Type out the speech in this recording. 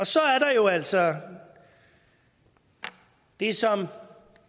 så er der jo altså det som